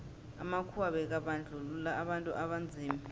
amakhuwa bekabandluua abantu abanzima